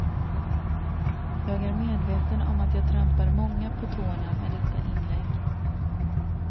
Jag är medveten om att jag trampar många på tårna med detta inlägg.